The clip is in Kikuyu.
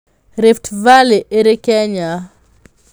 Rift Valley ĩrĩ Kenya.